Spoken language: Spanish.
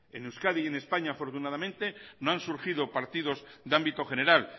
en euskadi y en españa afortunadamente no han surgido partidos de ámbito general